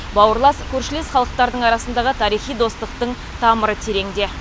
бауырлас көршілес халықтардың арасындағы тарихи достықтың тамыры тереңде